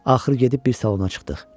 Axırı gedib bir salona çıxdıq.